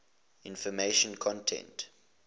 information content